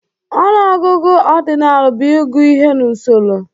Ọnụọgụgụ ọdinal bụ ịgụ ihe n'usoro